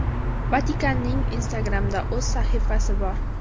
Vatikanning Instagram’da o‘z sahifasi bor.